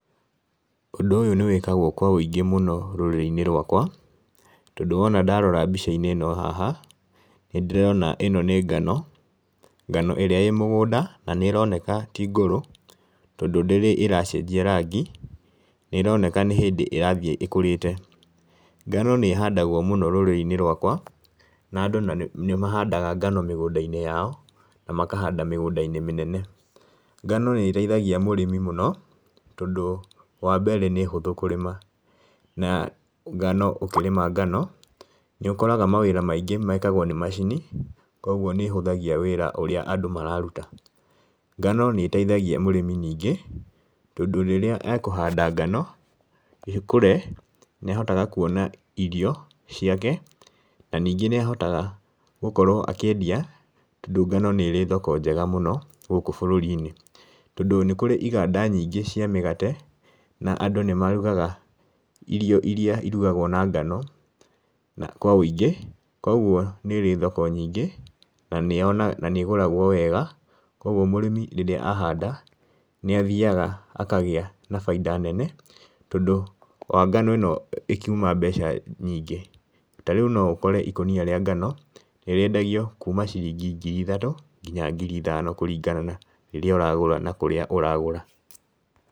Ũndũ ũyũ nĩ wĩkagwo kwa ũingĩ mũno rũrĩrĩ-inĩ rwakwa, tondũ wona ndarora mbica-inĩ ĩno haha, nĩ ndĩrona ĩno nĩ ngano, ngano ĩrĩa ĩ mũgũnda na nĩ ĩroneka ti ngũrũ tondũ ndĩrĩ ĩracenjia rangi, nĩ ĩroneka nĩ hĩndĩ ĩrathiĩ ĩkũrĩte. Ngano nĩ ihandagwo mũno rũrĩrĩ-inĩ rwakwa, na andu nĩ magandaga ngano mĩgũnda-inĩ yao, na makahanda mĩgũnda-inĩ mĩnene. Ngano nĩ ĩteithagia mũrĩmi mũno tondũ wambere nĩ hũthũ kũrĩma, na ngano ũkĩrĩma ngano, nĩ ũkoraga mawĩra maingĩ mekagwo nĩ macini, koguo nĩ ĩhũthagia wĩra ũrĩa andũ mararuta. Ngano nĩ ĩteithagia mũrĩmi ningĩ tondũ rĩrĩa ekũhanda ngano, ĩkũre, nĩ ahotaga kuona irio ciake, na ningĩ nĩ ahotaga gũkorwo akĩendia tondũ ngano nĩ ĩrĩ thoko njega mũno gũkũ bũrũri-inĩ, tondũ nĩ kũrĩ iganda nyingĩ cia mĩgate, na andũ nĩ marugaga irio iria irugagwo na ngano kwa ũingĩ, koguo nĩrĩ thoko nyingĩ, na nĩ ĩgũragwo wega, koguo mũrĩmi rĩrĩa ahanda nĩ athiaga akagĩa na baida nene tondũ wa ngano ĩno ĩkiuma mbeca nyingĩ. Ta rĩu no ũkore ikũnia rĩa ngano, nĩ rĩendagio kuuma ciringi ngiri ithatũ nginya ngiri ithano kũringana na rĩrĩa ũragũra na kũrĩa ũragũra.